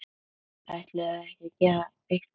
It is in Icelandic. Ætluðum við ekki að gera eitthvað?!